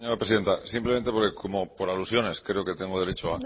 presidenta simplemente por alusiones creo que tengo derecho